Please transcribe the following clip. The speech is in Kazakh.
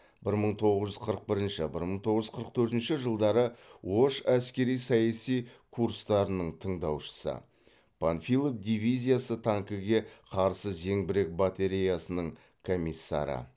бір мың тоғыз жүз қырық бірінші бір мың тоғыз жүз қырық төртінші жылдары ош әскери саяси курстарының тыңдаушысы панфилов дивизиясы танкіге қарсы зеңбірек батареясының комиссары